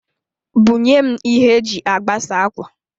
Bunyem ihe e ji agbasa akwa